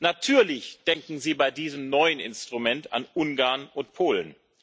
Natürlich denken Sie bei diesem neuen Instrument an Ungarn und Polen.